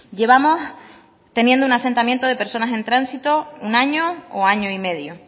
llevamos teniendo un asentamiento de personas en tránsito un año o año y medio